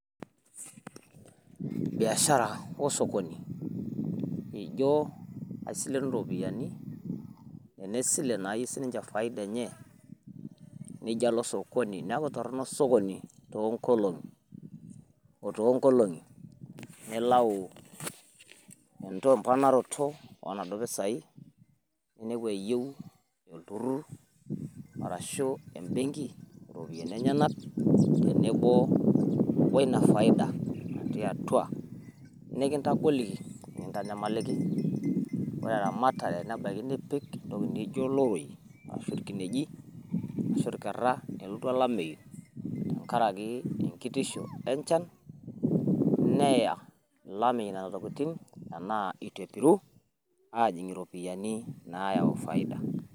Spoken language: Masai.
biashara orsokoni amu isilenu iropiyiani esile nayieu siniche faida enye nijo alo sokoni neeku tono orsokoni toonkolong'i nilau emponaroto oonaduo pisai , nepu eyieu olturur ,ashu ebengi ena duu faida ,ore teramatare inepu eyieu iloroi ashu irkinejik, nelotu olameyu neya ashu etu epiru neeku meeta faida.